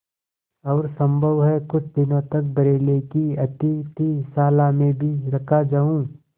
और सम्भव है कुछ दिनों तक बरेली की अतिथिशाला में भी रखा जाऊँ